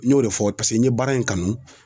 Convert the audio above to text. N y'o de fɔ n ye baara in kanu